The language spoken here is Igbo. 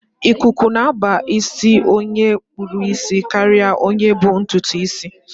Ikuku na-aba nke ọma n' isi onye kpụrụ isi karịa onye bu ntụtụ isi